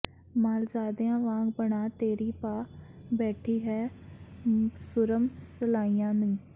ਮਾਲਜ਼ਾਦੀਆਂ ਵਾਂਗ ਬਣਾ ਤੇਰੀ ਪਾ ਬੈਠੀ ਹੈਂ ਸੁਰਮ ਸਲਾਈਆਂ ਨੀ